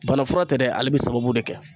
Bana fura tɛ dɛ ale bɛ sababu de kɛ